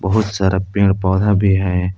बहुत सारा पेड़ पौधे भी हैं।